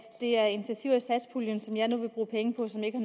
det er initiativer i satspuljen som jeg nu vil bruge penge på som ikke